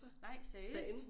Nej seriøst